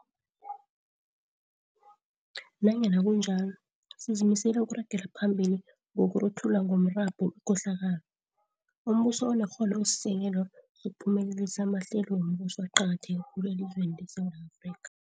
Nanyana kunjalo, sizimisele ukuragela phambili ngokuruthula ngomrabhu ikohlakalo. Umbuso onekghono usisekelo sokuphumelelisa amahlelo wombuso aqakatheke khulu elizweni leSewula Afrika.